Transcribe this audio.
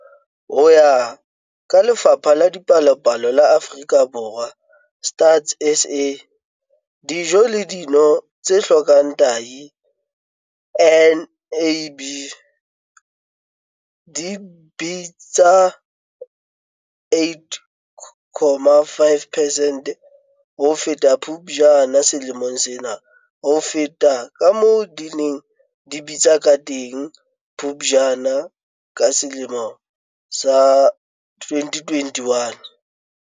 Ho ya ka Lefapha la Dipalopalo la Afrika Borwa, Stats SA, dijo le dino tse hlokang tahi, NAB, di bitsa 8.5 percent ho feta ka Phuptjane selemong sena ho feta kamoo di neng di bitsa kateng ka Phuptjane 2021.